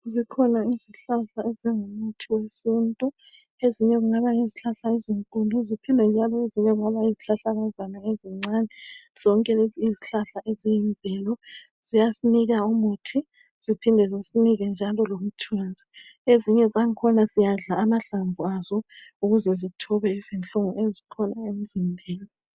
Zikhona izihlahla ezingumuthi wesintu, ezinye kungaba yizihlahla ezinkulu ziphinde noma zibe yizihlahlakazana ezincane zonke lezi yizihlahla eziyimvelo ziyasinika umuthi ziphinde zisinike njalo lomthunzi. Ezinye zangkhona siyadla amahlamvu azo ukuze zisithobe inhlungu emzimbeni.